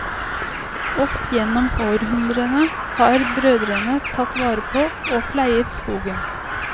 Opp gjennom århundrene har brødrene tatt vare på og pleiet skogen.